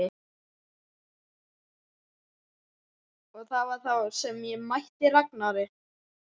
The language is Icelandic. Og það var þá sem ég mætti Ragnari.